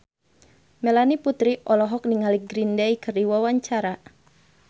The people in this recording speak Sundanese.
Melanie Putri olohok ningali Green Day keur diwawancara